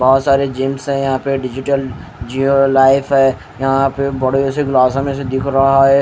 बहुत सारे जिम्स है यहां पे डिजिटल जिओ लाइफ है यहां पे बड़े से ग्लास में से दिख रहा है।